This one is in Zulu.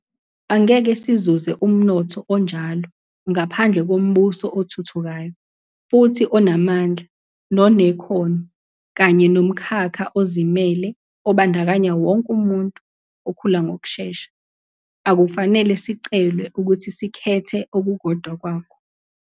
Angeke sizuze umnotho onjalo ngaphandle kombuso othuthukayo futhi onamandla nonekhono kanye nomkhakha ozimele obandakanya wonke umuntu, okhula ngokushesha. Akufanele sicelwe ukuthi sikhethe okukodwa kwakho.